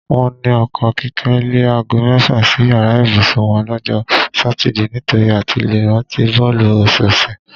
Wó̩n ní o̩ko̩ Kíké̩ le̩ aago mé̩fà sí yàrá ìbùsùn wo̩n ló̩jó̩ Sátidé nitori àti le rántí bó̩ò̩lù ò̩sò̩ò̩sè̩.